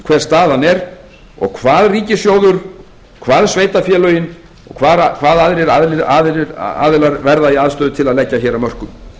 hver staðan er og hvað ríkissjóður hvað sveitarfélögin og hvað aðrir aðilar verða í aðstöðu til að leggja hér af mörkum